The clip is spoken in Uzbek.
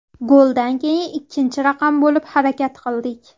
Goldan keyin ikkinchi raqam bo‘lib harakat qildik.